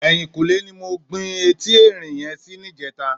Èyínkúnlé ni mó gbin éti èrín yèn si nijètá